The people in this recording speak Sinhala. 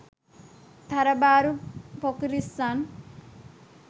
තරබාරු පොකිරිස්සන්